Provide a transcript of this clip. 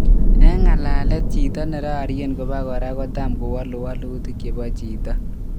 Eng ngalalet jito nararien ko pakora kotam kowalu walutik chepo jito.